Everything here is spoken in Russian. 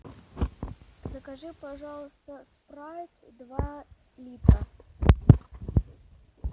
закажи пожалуйста спрайт два литра